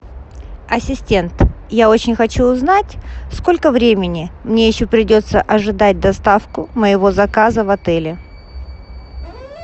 ассистент я очень хочу узнать сколько времени мне еще придется ожидать доставку моего заказа в отеле